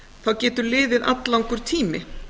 þá getur liðið alllangur tími